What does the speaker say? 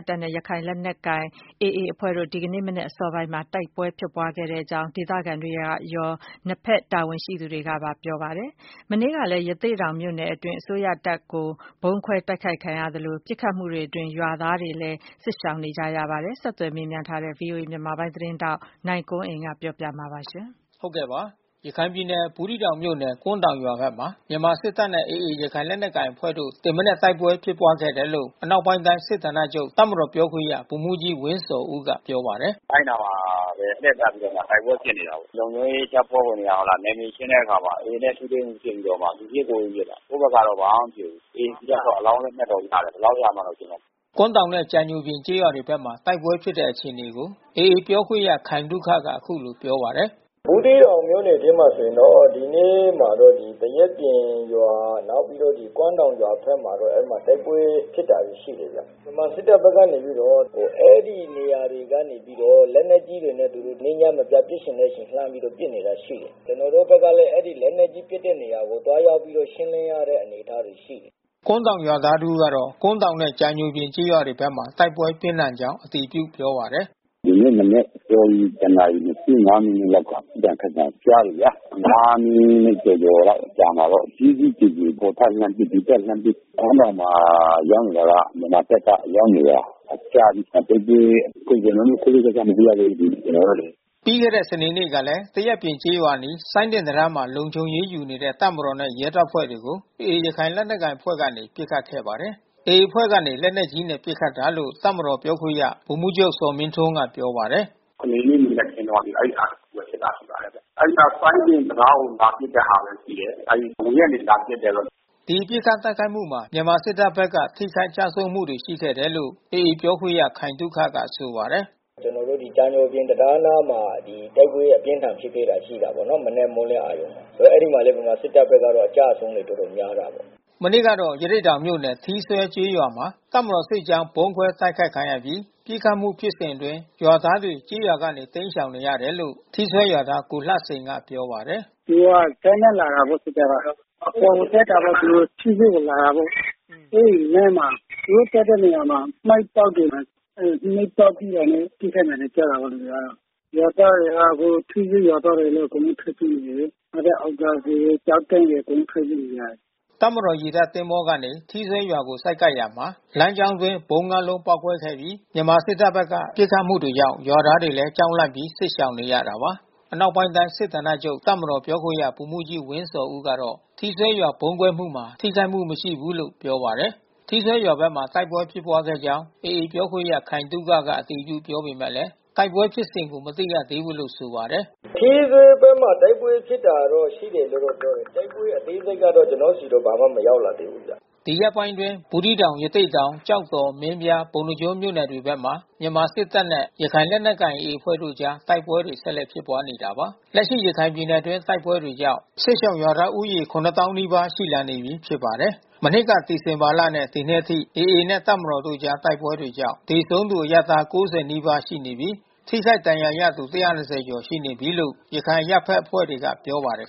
တပ်နဲ့ ရခိုင်လက်နက်ကိုင် AA အဖွဲ့တို့ ဒီကနေ့မနက်အစောပိုင်းမှာ တိုက်ပွဲဖြစ်ပွားခဲ့တယ်လို့ ဒေသခံတွေရော နှစ်ထက်တပ်တာဝန်ရှိသူတွေက ပြောပါတယ်။ မနေ့ကလည်း ရသေ့တောင်မြို့နယ်အတွင်း မြန်မာစစ်တပ်ဘက်က ဗုံးခွဲ တိုက်ခိုက်ခံရသလို ပစ်ခတ်မှုတွေအတွင်း ရွာသားတွေလည်း စစ်ရှောင် နေရပါတယ်။ ဆက်သွယ်မေးမြန်းထားတဲ့ ဗွီအိုအေ မြန်မာပိုင်းသတင်းထောက် နိုင်ကွန်းအိန်က နေပြောပြပေးမှာပါ။ ရခိုင်ပြည်နယ်၊ ဘူးသီးတောင်မြို့နယ်၊ ကွမ်းတောင်ရွာဘက်မှာ မြန်မာစစ်တပ်နဲ့ AA ရခိုင်လက်နက်ကိုင်အဖွဲ့တို့ ဒီမနက် တိုက်ပွဲဖြစ်ပွားခဲ့တယ်လို့ အနောက်ပိုင်းတိုင်းစစ်ဌာနချုပ် တပ်မတော်ပြောခွင့်ရ ဗိုလ်မှူးကြီးဝင်းဇော်ဦးက ပြောပါတယ်။ “အဲဒီနားမှာပဲ လှည့်ပတ်ပြီး တိုက်ပွဲဖြစ်နေတာပဲ။ လုံခြုံရေးတပ်ဖွဲ့ဝင်တွေက နယ်မြေရှင်းတဲ့အခါမှာ AA နဲ့ ထိတွေ့မှု ဖြစ်ပြီးတော့မှ သူပစ်ကိုယ်ပစ် ပစ်တာ။ ကိုယ့်ဘက်ကတော့ ဘာမှမဖြစ်ဘူး။ AA ဘက်ကတော့ အလောင်း လက်နက်ရတယ်။ ဘယ်လောက်ရလည်းတော့ ကျနော်မသိဘူး။” ကွမ်းတောင်နဲ့ ကြာညိုပြင် ကျေးရွာတွေဘက်မှာ တိုက်ပွဲဖြစ်တဲ့အခြေအနေကို AA ပြောခွင့်ရခိုင်သုခက အခုလိုပြောပါတယ်။ “ဘူးသီးတောင်မြို့နယ်ထဲမှာ ဆိုရင်တော့ ဒီနေ့မှာတော့ သရက်ပြင်ရွာနောက်ပြီးတော့ ကွမ်းတောင်ရွာဘက်မှာ အဲဒီမှာ တိုက်ပွဲ ဖြစ်တာတွေ ရှိတယ်။ ဗမာစစ်တပ်ဘက်ကနေပြီးတော့ အဲဒီနေရာကနေပြီးတော့ လက်နက်ကြီးတွေနဲ့ နေ့ည မပြတ် ပစ်ချင်တဲ့ အချိန်လှမ်းပြီးတော့ ပစ်နေတာရှိတယ်။ ကျနော်တို့ဘက်ကတော့ လက်နက်ကြီးပစ်တဲ့ နေရာတွေကို သွားရောက်ပြီးတော့ ရှင်းလင်းရတဲ့ အနေအထားတွေ ရှိတယ်။” ကွမ်းတောင်ရွာသား တဦးက ကွမ်းတောင်နဲ့ ကြာညိုပြင် ကျေးရွာတွေဘက်မှာ တိုက်ပွဲပြင်းထန်ကြောင်း အတည်ပြုပြောပါတယ်။ “ဒီနေ့ မနက်အစောကြီး တနာရီ ၂၅ မိနစ်လောက်က ပစ်သံခတ်သံ ကြားတယ်ဗျား။၅ မိနစ်ကျော်ကျော် အကြာမှာတော့ ကြီးကြီးကျယ်ကျယ် ဟိုဘက်လှမ်းပစ် ဒီဘက်လှမ်းပစ်။ ကွမ်းတောင်မှာရောက်နေတာက မြန်မာဘက်က ရောက်နေတာကြာပြီ။ တိုက်ပွဲအကုန်စင် တိတိကျကျ မသိရသေးဘူး ကျနော်တို့လေ။” ပြီးခဲ့တဲ့ စနေနေ့ကလည်း သရက်ပြင်ကျေးရွာအနီး စိုင်းတင်တံတားမှာ လုံခြုံရေးယူနေတဲ့ တပ်မတော်နဲ့ ရဲတပ်ဖွဲ့တွေကို AA ရခိုင်လက်နက်ကိုင်အဖွဲ့ကနေ ပစ်ခတ်ခဲ့ပါတယ်။ AA အဖွဲ့ကနေ လက်နက်ကြီးနဲ့ ပစ်ခတ်တာလို့ တပ်မတော်ပြောခွင့်ရ ဗိုလ်မှူးချုပ်ဇော်မင်းထွန်းက ပြောပါတယ်။ “စနေနေ့မနက်ခင်းတုန်းက အဲဒီဟာတခုတော့ဖြစ်တာ ရှိပါတယ်။ အဲဒီနားက စိုင်းတင်တံတားကို လာပစ်တဲ့ဟာပဲ ရှိတယ်။ အဝေးကနေ လာပစ်တယ်ပေါ့။” ဒီပစ်ခတ်တိုက်ခိုက်မှုမှာ မြန်မာစစ်တပ်ဘက်က ထိခိုက်ကျဆုံးမှု ရှိခဲ့တယ်လို့ AA ပြောခွင့်ရခိုင်သုခက ဆိုပါတယ်။ “ကျနော်တို့ ကြာညိုပြင်တံတားအနားမှာ တိုက်ပွဲအပြင်းထန်ဖြစ်ခဲ့တာ ရှိတာပေါ့နော်။ မနက် မိုးလင်းအာရုဏ်မှာ။ အဲဒီမှာလည်းပဲ မြန်မာစစ်တပ်ဘက်က အကျဆုံးတော်တော်လေး များပါတယ်။” မနေ့ကတော့ ရသေ့တောင်မြို့နယ် ထီးစွဲကျေးရွာမှာ တပ်မတော်စစ်ကြောင်း ဗုံးခွဲတိုက်ခိုက်ခံရပြီး ပစ်ခတ်မှုဖြစ်စဉ် အတွင်း ရွာသားတွေ ကျေးရွာကနေ တိမ်းရှောင်နေရတယ်လို့ ထီးစွဲရွာသား ကိုလှစိန်က ပြောပါတယ်။ “သူတို့က ဇက်နဲ့လာတယ်ပေါ့ စစ်တပ်က။ အပေါ်ကိုတက်တာပဲ သူတို့ ထီးစွဲကိုလာတာပေါ့။ အဲဒီလမ်းမှာ သူတို့တက်တဲ့နေရာမှာ မိုင်းပေါက်တယ်။ မိုင်းပေါက်ပြီးတာနဲ့ ပစ်ခတ်သံတွေ ကြားတာပေါ့ လူတွေကတော့။ ရွာသားတွေကအခု ထီးစွဲရွာသားတွေရော အကုန်လုံး ထွက်ပြေးနေတယ်။ နောက်ထပ်အောင်သာစည်၊ ကျောက်တန်းရယ် အကုန်လုံးထွက် ပြေးနေရတယ်။” တပ်မတော် ရေတပ်သင်္ဘော တစီးကနေ ထီးစွဲရွာကိုဆိုက်ကပ်ရာမှာ လမ်းကြောင်းအတွင်းဗုံး ငါး လုံး ပေါက်ကွဲခဲ့ပြီး မြန်မာစစ်တပ်ဘက်က ပစ်ခတ်မှုတွေကြောင့် ရွာသားတွေလည်း ကြောက်လန့်ပြီး စစ်ရှောင်နေရတာပါ။ အနောက်ပိုင်းတိုင်း စစ်ဌာနချုပ်တပ်မတော်ပြောခွင့်ရ ဗိုလ်မှူးကြီးဝင်ဇော်ဦးကတော့ ထီးစွဲရွာဗုံးကွဲမှုမှာတော့ ထိခိုက်မှု မရှိဘူးလို့ ပြောပါတယ်။ ထီးစွဲရွာဘက်မှာ တိုက်ပွဲဖြစ်ပွားခဲ့ကြောင်း AA ပြောခွင့်ရခိုင်သုခက အတည်ပြုပြောပေမဲ့ တိုက်ပွဲဖြစ်စဉ်ကို မသိရသေးဘူးလို့ ဆိုပါတယ်။ “ထီးစွဲဘက်မှာတော့ တိုက်ပွဲရှိတယ်လို့ ပြောတာပဲ။ တိုက်ပွဲအသေးစိတ်ကတော့ ကျနော်ဆီ ဘာမှ မရောက်လာသေးဘူးဗျ။” ဒီရက်ပိုင်းအတွင်း ဘူးသီးတောင် ရသေ့တောင် ကျောက်တော် မင်းပြား ပုဏ္ဏားကျွန်းမြို့နယ်တွေဘက်မှာ မြန်မာစစ်တပ်နဲ့ ရခိုင်လက်နက်ကိုင် AA အဖွဲ့တို့အကြား တိုက်ပွဲတွေ ဆက်လက်ဖြစ်ပွားနေတာပါ။ လက်ရှိ ရခိုင်ပြည်နယ်အတွင်း တိုက်ပွဲတွေကြောင့် စစ်ရှောင်ရွာသားဦးရေ ၇၀,၀၀၀ နီးပါး ရှိလာနေပြီးဖြစ်ပါတယ်။ မနှစ်က ဒီဇင်ဘာလနဲ့ ဒီနှစ်အထိ AA နဲ့ တပ်မတော်တို့အကြား တိုက်ပွဲတွေကြောင့် သေဆုံးသူ အရပ်သား ၉၀ နီးပါး ရှိနေပြီး ထိခိုက်ဒဏ်ရာရသူ ၁၂၀ ကျော် ရှိနေပြီလို့ ရခိုင်အရပ်ဘက် အဖွဲ့တွေက ပြောပါတယ်